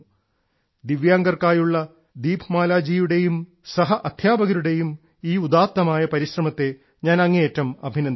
ദിവ്യാംഗർക്കായുള്ള ശ്രീമതി ദീപ്മാലയുടെയും സഹ അധ്യാപകരുടെയും ഈ ഉദാത്തമായ പരിശ്രമത്തെ ഞാൻ അങ്ങേയറ്റം അഭിനന്ദിക്കുന്നു